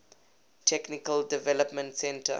technical development center